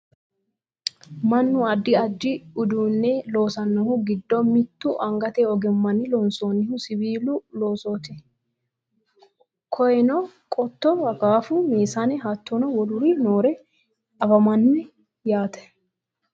mannu addi addi uduunne loosannohu giddo mittu angate ogimmanni loonsannihu siwiilu loosooti koyeeno qotto akaafu meesane hattono woluri noore anfanni yaate